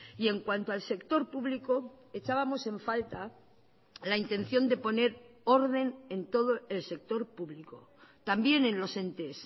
y en cuanto al sector público echábamos en falta la intención de poner orden en todo el sector público también en los entes